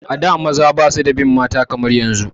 A da maza ba su da bin mata kamar yanzu